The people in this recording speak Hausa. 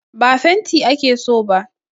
Ba fenti ake so ba